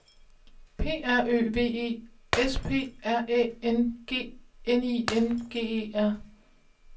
P R Ø V E S P R Æ N G N I N G E R